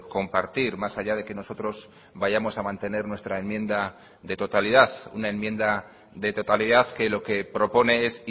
compartir más allá de que nosotros vayamos a mantener nuestra enmienda de totalidad una enmienda de totalidad que lo que propone es